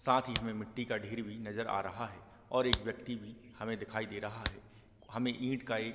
साथ ही हमें मिट्टी का ढेर भी नज़र आ रहा है और एक व्यक्ति भी हमें दिखाई दे रहा है हमें ईंट का एक --